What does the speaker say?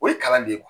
O ye kalan de ye